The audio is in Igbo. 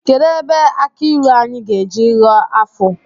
Kedụ ebe aki ịlụ anyị ga-eji Aghọ ọfọ?